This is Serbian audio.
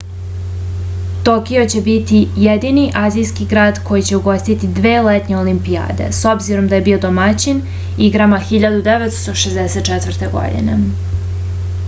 tokio će biti jedini azijski grad koji će ugostiti dve letnje olimpijade s obzirom da je bio domaćin igrama 1964. godine